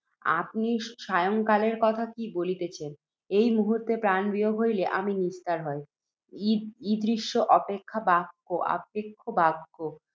আপনি সায়ংকালের কথা কি বলিতেছেন, এই মুহূর্ত্তে প্রাণবিয়োগ হইলে, আমার নিস্তার হয়। ঈ ~ ঈদৃশ আক্ষেপ বাক্য